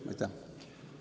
Aitäh!